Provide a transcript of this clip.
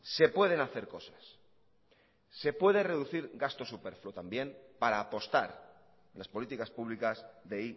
se pueden hacer cosas se puede reducir gasto superfluo también para apostar las políticas públicas de